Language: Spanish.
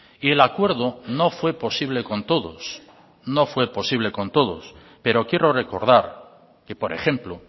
y el acuerdo no fue posible con todos no fue posible con todos pero quiero recordar que por ejemplo